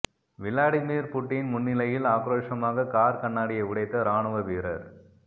Vladimir Putin முன்னிலையில் ஆக்ரோஷமாக car கண்ணாடியை உடைத்த இராணுவ வீரர்